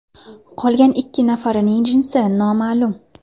Qolgan ikki nafarining jinsi noma’lum.